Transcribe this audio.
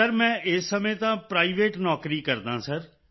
sir ਮੈਂ ਇਸ ਸਮੇਂ ਤਾਂ ਪ੍ਰਾਈਵੇਟ ਨੌਕਰੀ ਕਰਦਾ ਹਾਂ ਸਰ